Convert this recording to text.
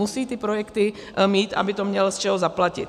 Musí ty projekty mít, aby to měl z čeho zaplatit.